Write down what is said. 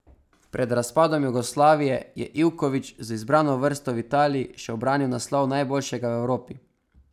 Pred razpadom Jugoslavije je Ivković z izbrano vrsto v Italiji še ubranil naslov najboljšega v Evropi.